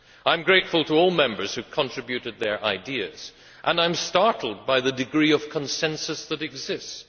I am grateful to all Members who contributed their ideas, and I am startled by the degree of consensus that exists.